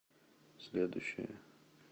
следующая